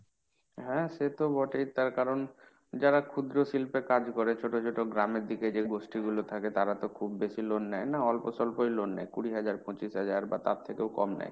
হ্যাঁ সে তো বটেই। তার কারণ যারা ক্ষুদ্র শিল্পে কাজ করে ছোট ছোট গ্রামের দিকে যে গোষ্ঠীগুলো থাকে তারা তো খুব বেশি loan নেয় না, অল্প স্বল্পই loan নেয় কুড়ি হাজার পচিশ হাজার বা তার থেকেও কম নেয়।